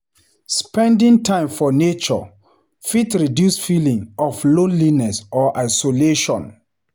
Spending time for nature fit reduce feelings of loneliness or isolation.